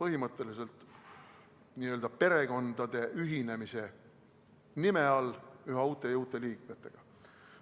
põhimõtteliselt n-ö perekondade ühinemise nime all üha uute ja uute liikmetega.